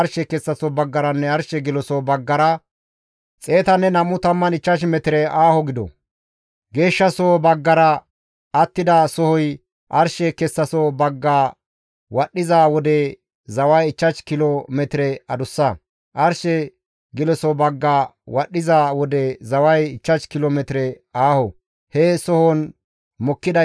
Geeshshasoho baggara attida sohoy arshe kessaso bagga wadhdhiza wode zaway 5 kilo metire adussa; arshe geloso bagga wadhdhiza wode, zaway 5 kilo metire aaho. He sohozan mokkidayssi ubbay he kataman ooththizaytas quma gidana.